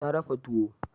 Ta dafa tuwo.